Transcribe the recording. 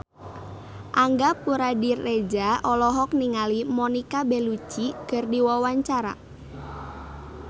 Angga Puradiredja olohok ningali Monica Belluci keur diwawancara